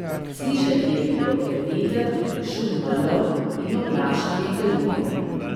Slišati je bilo le veter, šum valov in oglašanje galebov.